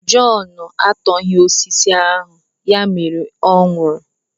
Jọn etoghị osisi ahụ, ya mere ọ nwụrụ.